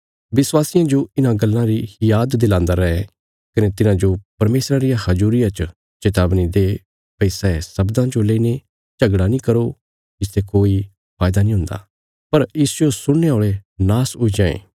विश्वासियां जो इन्हां गल्लां री याद दिलान्दा रै कने तिन्हांजो परमेशरा रिया हजूरिया च चेतावनी दे भई सै शब्दां जो लईने झगड़ा नीं करो इसते कोई फायदा नीं हुन्दा पर इसजो सुणने औल़े नाश हुई जांये